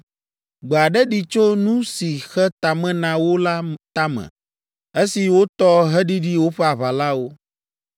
Gbe aɖe ɖi tso nu si xe tame na wo la tame esi wotɔ heɖiɖi woƒe aʋalawo.